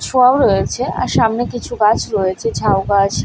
ছোঁয়াও রয়েছে আর সামনে কিছু গাছ রয়েছে ঝাউ গাছ --